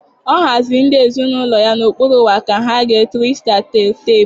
Ọ haziri ndị ezinaụlọ ya n'okpuru onwa ka ha gee triksta tel tepu.